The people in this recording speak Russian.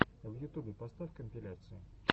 в ютубе поставь компиляции